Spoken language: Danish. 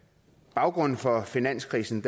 baggrunden for finanskrisen